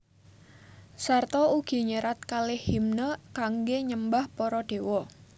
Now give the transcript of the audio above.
Sarta ugi nyerat kalih himne kangge nyembah para dewa